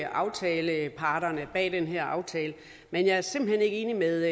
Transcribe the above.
aftaleparterne bag den her aftale men jeg er simpelt hen ikke enig med